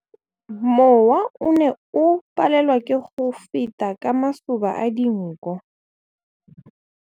Mowa o ne o palelwa ke go feta ka masoba a dinko.